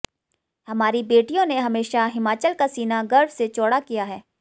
हमारी बेटियों ने हमेशा हिमाचल का सीना गर्व से चौडा किया है